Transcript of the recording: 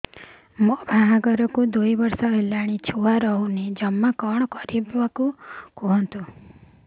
ମୋ ବାହାଘରକୁ ଦୁଇ ବର୍ଷ ହେଲାଣି ଛୁଆ ରହୁନି ଜମା କଣ କରିବୁ କୁହନ୍ତୁ